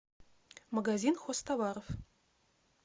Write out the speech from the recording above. магазин хозтоваров